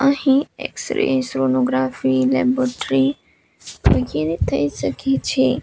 અહીં x-ray sonography laboratory વગેરે થઈ સકે છે.